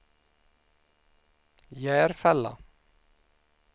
Järfälla